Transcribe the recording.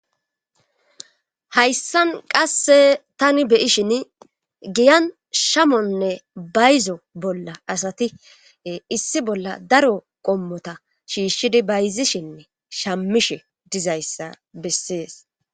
Hayssan qasse tani be'ishin giyan shamonne bayzo bolla asati issi bolla daro qommota shiishshidi bayzishinne shammishe diza issa bessees.